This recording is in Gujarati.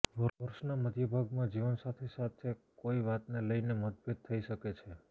વર્ષના મધ્ય ભાગમાં જીવનસાથી સાથે કોઈ વાતને લઈને મતભેદ થઈ શકે છે